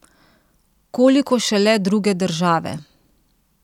Koliko šele druge države!